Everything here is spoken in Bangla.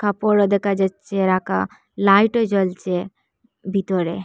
উপরো দেখা যাচ্ছে রাকা লাইটও জ্বলছে বিতরে ।